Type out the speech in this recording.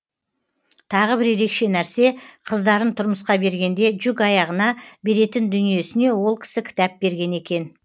тағы бір ерекше нәрсе қыздарын тұрмысқа бергенде жүк аяғына беретін дүниесіне ол кісі кітап берген екен